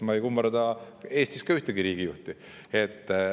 Ma ei kummarda Eestis ka ühtegi riigijuhti.